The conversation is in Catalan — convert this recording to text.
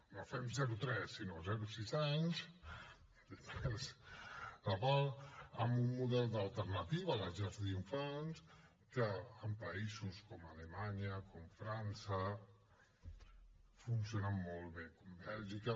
no fem zero tres sinó zero sis anys que va amb un model d’alternativa a les llars d’infants que en països com alemanya com frança funcionen molt bé o com bèlgica